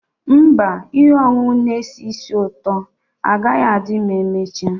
Mba, ihe ọṅụṅụ na-esi ísì ụtọ agaghị adị ma emechaa.